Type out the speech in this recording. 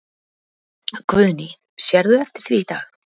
Guðný: Sérðu eftir því í dag?